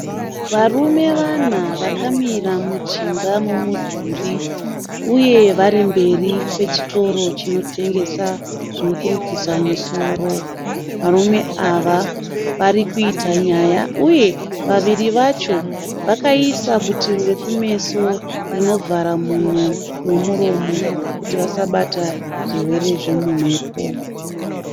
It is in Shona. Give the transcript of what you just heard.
Varume vana vakamira mujinga memudhuri uye vari mberi kwechitoro chinotengesa zvekurukisa musoro. Varume ava varikuita nyaya uye vaviri vacho vakaisa butiro rokumeso rinovhara mhuno nemuromo kuti vasabata zvirwere zvemumhepo.